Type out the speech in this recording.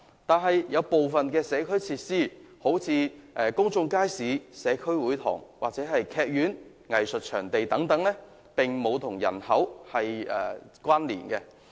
然而，部分社區設施如公眾街市、社區會堂，以及劇院或藝術場地等，則與人口並無關連。